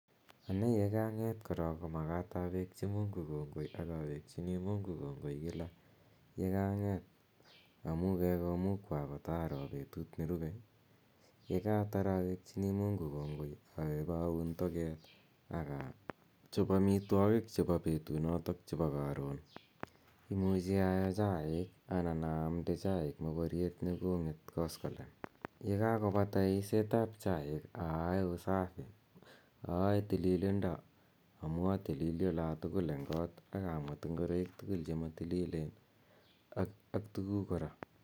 Ane ye kang'et korok ko makat awekchi Mungu kongoi ak awekchini Mungu kongoi kila amu kakomukwa kotaro petut nerupe. Ye kaatar awekchini Mungu kongoi awe ip aun toget i akawe ip achop amitwogiik chepo petunotok chepo karon. Imuchi aoo chaiik anan aamde chaiik moporiet ne kong'et koskolen. Ye kakopata eiset ap chaik ayae usafi. Ayae tililindo amu atilili ala tugulu eng' kot ak amwet ngoroik tugul ak tuguuk kora.